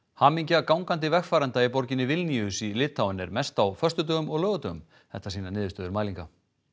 hamingja gangandi vegfarenda í borginni Vilníus í Litáen er mest á föstudögum og laugardögum þetta sýna niðurstöður mælinga